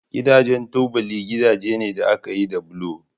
Gidajen tubali gidaje ne da aka yi da bulo